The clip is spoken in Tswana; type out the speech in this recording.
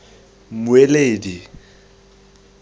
mmueledi